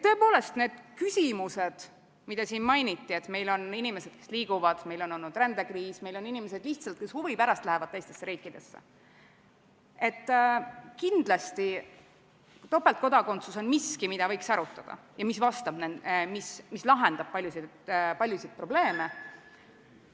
Tõepoolest, need küsimused, mida siin mainiti – et meil on inimesed, kes liiguvad, meil on rändekriis, meil on inimesed, kes lihtsalt huvi pärast lähevad teistesse riikidesse –, kindlasti topeltkodakondsus on miski, mida võiks arutada ja mis lahendab paljusid probleeme ...